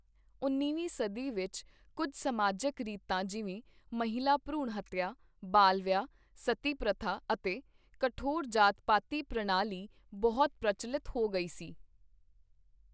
ਉੱਨੀਵੀਂ ਸਦੀ ਵਿਚ ਕੁੱਝ ਸਮਾਜਕ ਰੀਤਾਂ ਜਿਵੇਂ ਮਹਿਲਾ ਭਰੂਣ ਹੱਤਿਆ ਬਾਲ ਵਿਆਹ ਸਤੀ ਪਤੀਤ* ਅਤੇ ਕਠੋਰ ਜਾਤਪਾਤੀ ਪ੍ਰਣਾਲੀ ਬਹੁਤ ਪ੍ਰਚੱਲਤ ਹੋ ਗਈ ਸੀ।